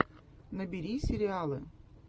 набери сериалы